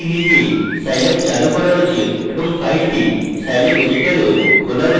এটির নিজেই scilab চালু করা উচিত এবং file scilab editor এও খোলা উচিত